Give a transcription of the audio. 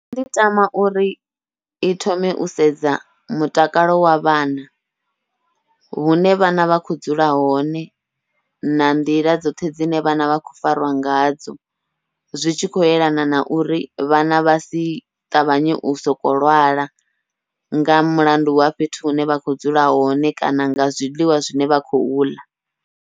Nṋe ndi tama uri i thome u sedza mutakalo wa vhana, hune vhana vha kho dzula hone na nḓila dzoṱhe dzine vhana vha khou fariwa ngadzo, zwi tshi khou yelana na uri vhana vha si ṱavhanye u soko lwala nga mulandu wa fhethu hune vha kho dzula hone kana nga zwiḽiwa zwine vha kho uḽa.